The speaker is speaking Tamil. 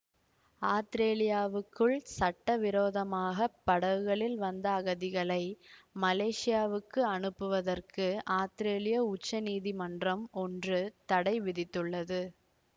ஆத்திரேலியாவுக்குள் சட்டவிரோதமாகப் படகுகளில் வந்த அகதிகளை மலேசியாவுக்கு அனுப்புவதற்கு ஆத்திரேலிய உச்ச நீதிமன்றம் ஒன்று தடை விதித்துள்ளது